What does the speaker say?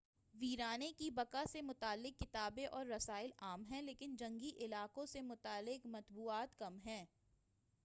ویرانے کی بقاء سے متعلق کتابیں اور رسائل عام ہیں لیکن جنگی علاقوں سے متعلق مطبوعات کم ہیں